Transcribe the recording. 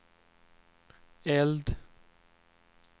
eld